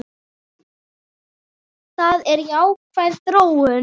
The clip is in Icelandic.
Það er jákvæð þróun.